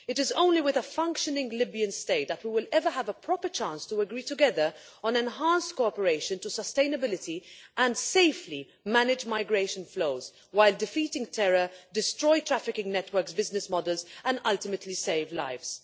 It is only with a functioning Libyan State that we will ever have a proper chance to agree together on enhanced cooperation to sustainability and safely manage migration flows while defeating terrorism, destroying trafficking networks' business models and ultimately saving lives.